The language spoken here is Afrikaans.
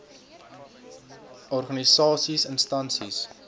s organisasies instansies